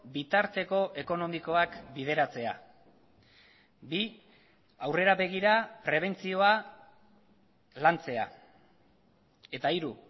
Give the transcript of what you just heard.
bitarteko ekonomikoak bideratzea bi aurrera begira prebentzioa lantzea eta hiru